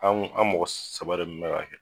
An an mɔgɔ saba de kun be k'a kɛ